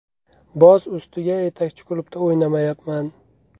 Boz ustiga yetakchi klubda o‘ynamayapman.